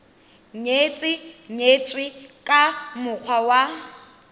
nyetse nyetswe ka mokgwa wa